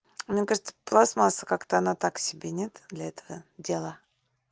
она кажется пластмасса как-то оно так себе нет для этого дела